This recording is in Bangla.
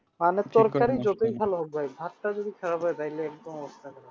হোক ভাই ভাতটা যদি খারাপ হয় তাইলে